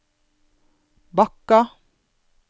Bakka